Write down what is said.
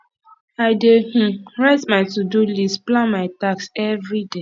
i dey um write my todo list plan my tasks everyday